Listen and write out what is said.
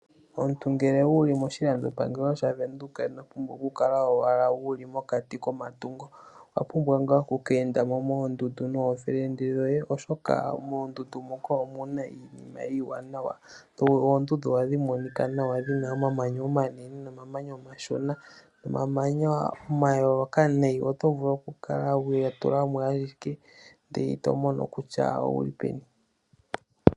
Omuntu ngele wuli moshilandopangelo shaVenduka ino pumbwa owala oku kala wuli mokati komatungo. Owa pumbwa okukeenda mo nokuume koye moondundu, oshoka ohamu monika nawa muna omamanya ga londathana gomaludhi ogendji. Oto vulu okukala wa landula mo ashike ihe ito mono kutya wuli peni.